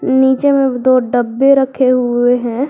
नीचे में दो डब्बे रखे हुए हैं।